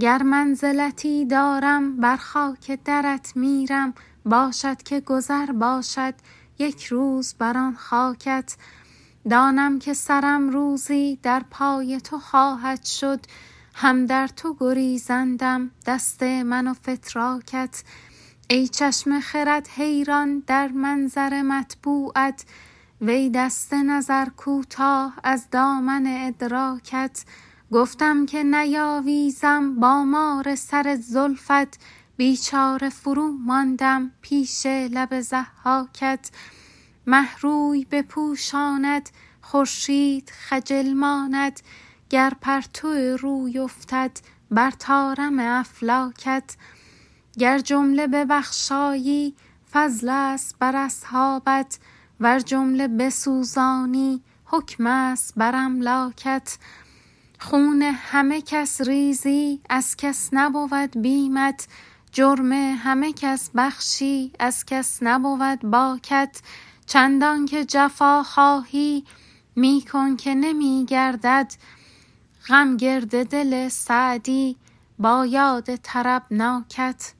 گر منزلتی دارم بر خاک درت میرم باشد که گذر باشد یک روز بر آن خاکت دانم که سرم روزی در پای تو خواهد شد هم در تو گریزندم دست من و فتراکت ای چشم خرد حیران در منظر مطبوعت وی دست نظر کوتاه از دامن ادراکت گفتم که نیاویزم با مار سر زلفت بیچاره فروماندم پیش لب ضحاکت مه روی بپوشاند خورشید خجل ماند گر پرتو روی افتد بر طارم افلاکت گر جمله ببخشایی فضلست بر اصحابت ور جمله بسوزانی حکمست بر املاکت خون همه کس ریزی از کس نبود بیمت جرم همه کس بخشی از کس نبود باکت چندان که جفا خواهی می کن که نمی گردد غم گرد دل سعدی با یاد طربناکت